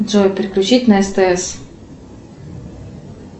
джой переключить на стс